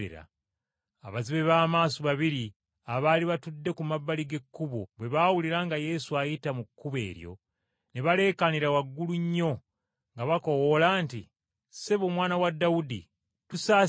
Abazibe b’amaaso babiri abaali batudde ku mabbali g’ekkubo bwe baawulira nga Yesu ayita mu kkubo eryo, ne baleekaanira waggulu nnyo nga bakoowoola nti, “Ssebo, Omwana wa Dawudi, otusaasire!”